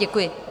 Děkuji.